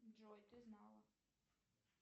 джой ты знала